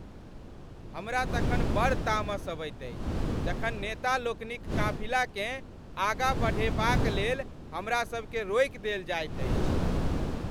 हमरा तखन बड़ तामस अबैत अछि जखन नेतालोकनिक काफिलाकेँ आगाँ बढ़ेबाक लेल हमरासभकेँ रोकि देल जाइत अछि।